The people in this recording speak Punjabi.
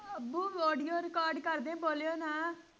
ਅੱਬੂ audio record ਕਰਦੇ ਹਾਂ ਬੋਲਿਓ ਨਾ।